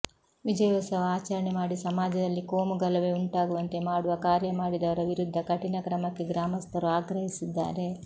ವಿಜಯೋತ್ಸವ ಆಚರಣೆ ಮಾಡಿ ಸಮಾಜದಲ್ಲಿ ಕೋಮುಗಲಭೆ ಉಂಟಾಗುವಂತೆ ಮಾಡುವ ಕಾರ್ಯ ಮಾಡಿದವರ ವಿರುದ್ಧ ಕಠಿಣ ಕ್ರಮಕ್ಕೆ ಗ್ರಾಮಸ್ಥರು ಆಗ್ರಹಿಸಿದ್ದಾರೆ